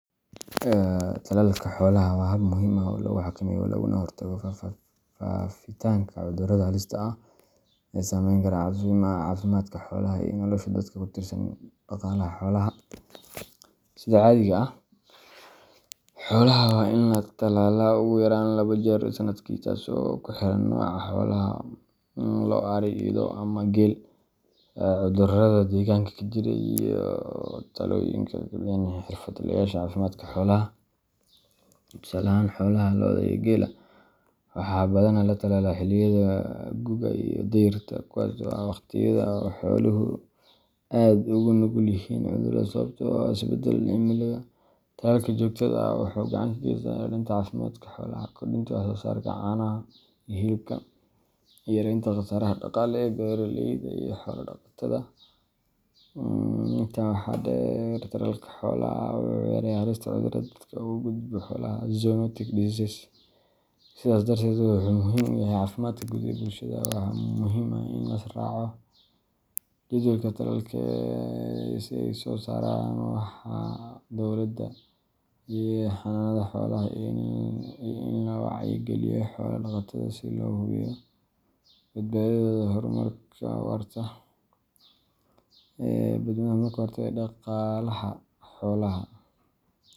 Talaaka xoolaha waa hab muhiim ax oo laguxakameyo Laguna hortago faafitanka cudurada halista ah e sameyn Kara cafimadka xoolaha iyo nolosha dadku kutiirsan daqaalaha xoolaha . Sida caadiga ah xoolaha waa in latalala oguyaraan labo jeer sanadki taasi oo kuxiran noca xoolahal loo, Ari ama geel cudurada degaanka kajiro iyo talooyinka ee kuleyihi cirfadlayasha cafimadka xoolaha, tusaale ahaan xoolaha looda iyo geel waxaa badanaa latalala xiliga guuga iyo deerta kuwas ax waqtiyada xaoluhu aad ogunugulyihiin cudurada sawabtoo ah isbadalada cimilada taas kajotada ah wuxu gacan kagesa xurunta cafimadka xoolaha kudunta waxsoosarida caanaha iyo hilibka yarenta wax soosaraha dagele beeraleyda iyo xoola daqatada. Inta waxaa deer talaalka xoolaha wuxu yareyaa xalista cudurada dadka ogugudbo xoolaha zoomatic diseases, sidas dartees wuxuu muhiim uyahy cafimadka guud ee bulshada waxaa muhiim ah in lisraaco. Jadwalka talaalka e sey usosaraan waxa dowlada xanaanada xoolaha iyo in loo wacyi galiyo xoola daqatada sida loo hubiyo dabdadadooda hormarka awaarta e dadwenaha kahortaga Daqaalaha xoolaha.